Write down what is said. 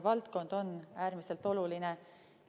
Suur aitäh nende meenutuste ja selle küsimuse eest!